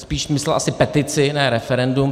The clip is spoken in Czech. Spíše myslel asi petici, ne referendum.